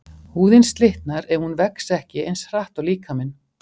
Húðin slitnar ef hún vex ekki eins hratt og líkaminn.